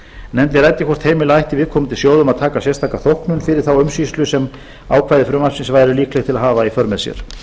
nefndin ræddi hvort heimila ætti viðkomandi sjóðum að taka sérstaka þóknun fyrir þá umsýslu sem ákvæði frumvarpsins væru líkleg að hafa í för með sér